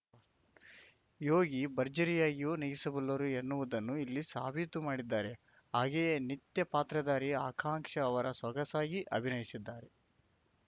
ಯೋಗಿ ಭರ್ಜರಿಯಾಗಿಯೂ ನಗಿಸಬಲ್ಲರೂ ಎನ್ನುವುದನ್ನು ಇಲ್ಲಿಸಾಬೀತು ಮಾಡಿದ್ದಾರೆ ಹಾಗೆಯೇ ನಿತ್ಯಾ ಪಾತ್ರಧಾರಿ ಆಕಾಂಕ್ಷ ಅವರ ಸೊಗಸಾಗಿ ಅಭಿನಯಿಸಿದ್ದಾರೆ